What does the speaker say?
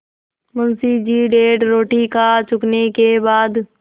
मुंशी जी डेढ़ रोटी खा चुकने के बाद